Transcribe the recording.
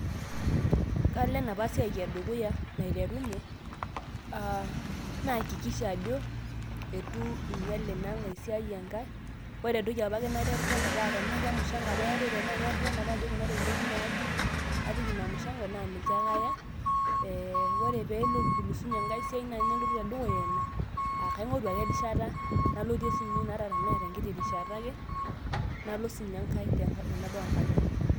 Kalo enapa siai edukuya naiterunye, ah naakikisha ajo eitu iinyal inankae siai enkae, ore entoki apake naterrerrena pa tenaa kemushanko apa eetae pa tenaa aterrerrene apa ake ajo kuna ropiyaiani naaje apik inamushanko, na niache ake aya, eh ore petulusunye enkae siai nai tenelotu tedukuya ina, ah kaing'oru ake ai rishata nalotie sinye ina ata tenaa tenkiti rishata ake, nalo sinye enkae tenebau enkata enye.